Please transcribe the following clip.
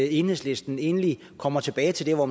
enhedslisten egentlig kommer tilbage til hvor